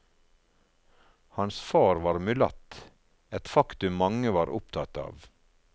Hans far var mulatt, et faktum mange var opptatt av.